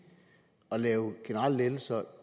og give generelle lettelser